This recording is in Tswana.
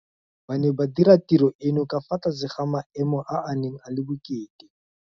Ba ne ba dira tiro eno ka fa tlase ga maemo a a neng a le bokete.